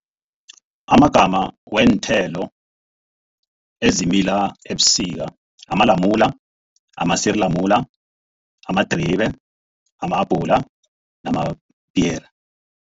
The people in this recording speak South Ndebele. Amagama weenthelo ezimila ebusika, amalamula, amasirilamula, amadribe, ama-abhula namapiyere.